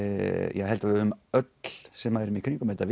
ég held að við öll sem erum í kringum þetta